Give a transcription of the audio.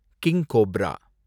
king cobra